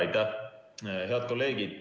Aitäh, head kolleegid!